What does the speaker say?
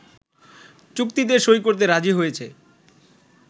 চুক্তিতে সই করতে রাজি হয়েছে